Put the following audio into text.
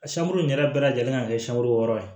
A sankurun yɛrɛ bɛɛ lajɛlen kan ka kɛ sama wɔɔrɔ ye